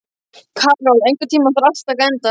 Karol, einhvern tímann þarf allt að taka enda.